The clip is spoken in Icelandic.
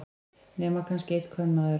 Nema kannski einn kvenmaður.